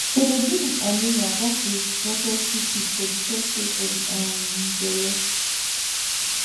to dey deal wit anemia ghats be reported quick quick for de third stage for de um belle